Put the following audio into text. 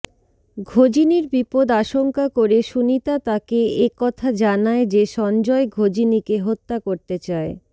ঘজিনির বিপদ আশঙ্কা করে সুনিতা তাকে একথা জানায় যে সঞ্জয় ঘজিনিকে হত্যা করতে চায়